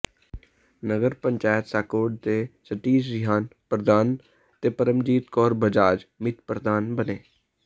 ਨਗਰ ਪੰਚਾਇਤ ਸ਼ਾਹਕੋਟ ਦੇ ਸਤੀਸ਼ ਰਿਹਾਨ ਪ੍ਰਧਾਨ ਤੇ ਪਰਮਜੀਤ ਕੌਰ ਬਜਾਜ ਮੀਤ ਪ੍ਰਧਾਨ ਬਣੇ